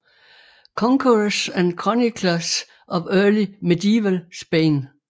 Conquerors and Chroniclers of Early Medieval Spain